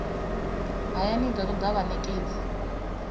hayani i do toda vhanekedzi